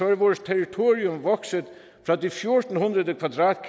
er vores territorium vokset fra